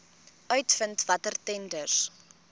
uitvind watter tenders